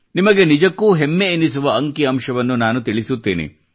ನಿಮಗೆ ನಿಜಕ್ಕೂ ಹೆಮ್ಮೆ ಎನಿಸುವ ಅಂಕಿಅಂಶವನ್ನು ನಾನು ತಿಳಿಸುತ್ತೇನೆ